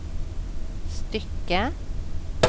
stycke